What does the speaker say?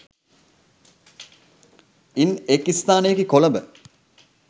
ඉන් එක් ස්ථානයකි කොළඹ